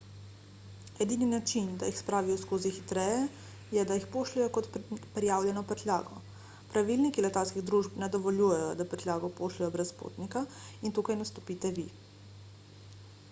edini način da jih spravijo skozi hitreje je da jih pošljejo kot prijavljeno prtljago pravilniki letalskih družb ne dovoljujejo da prtljago pošljejo brez potnika in tukaj nastopite vi